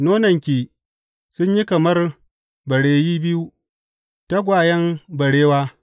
Nonanki sun yi kamar bareyi biyu, tagwayen barewa.